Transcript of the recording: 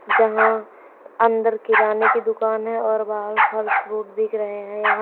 जहां अंदर किराने की दुकान है और बाहर फल फ्रूट बिक रहे हैं यहां--